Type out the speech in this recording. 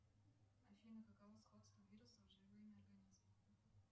афина каково сходство вирусов с живыми организмами